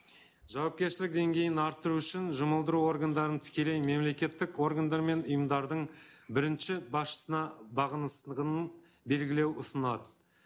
жауапкершілік деңгейін арттыру үшін жұмылдыру органдарын тікелей мемлекеттік органдар мен ұйымдардың бірінші басшысына белгілеу ұсынады